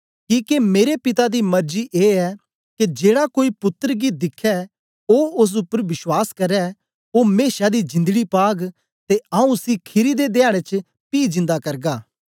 किके मेरे पिता दी मर्जी ए ऐ के जेड़ा कोई पुत्तर गी दिखै ते ओस उपर विश्वास करै ओ मेशा दी जिंदड़ी पाग ते आऊँ उसी खीरी दे ध्याडें च पी जिन्दा करगा